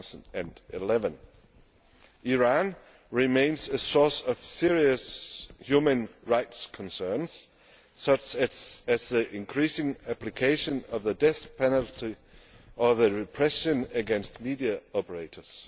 2011. Iran remains a source of serious human rights concerns such as the increasing application of the death penalty and repression against media operators.